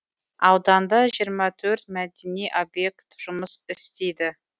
ауданда жиырма төрт мәдени объект жұмыс істейді